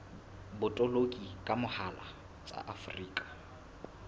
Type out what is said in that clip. botoloki ka mohala tsa afrika